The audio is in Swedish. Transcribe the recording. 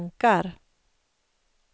tankar